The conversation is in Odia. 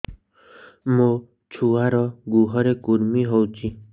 ମୋ ଛୁଆର୍ ଗୁହରେ କୁର୍ମି ହଉଚି